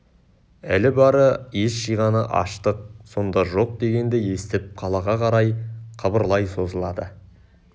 әлі бары ес жиғаны аштық сонда жоқ дегенді естіп қалаға қарай қыбырлай созылады